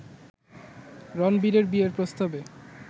রণবীরের বিয়ের প্রস্তাবে